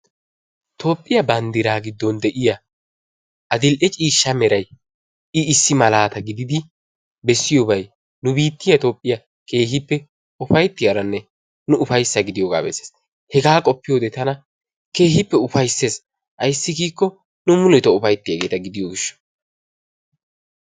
Tophphiyaa bandiraa gidoon de'iyaa adi"le ciishsha meray i issi malaata giidid bessiyoobay nu biittiyaa etoophphiyaa keehippe upayttiyaaronne nu upayssa gidiyoogaa bessees. hegaa qoppiyoode tana keehippe ufayssees. ayssi giikko nu muletoo ufayttiyaageta gidiyoo giishshawu.